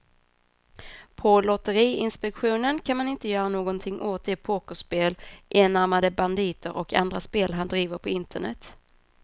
På lotteriinspektionen kan man inte göra någonting åt de pokerspel, enarmade banditer och andra spel han driver på internet.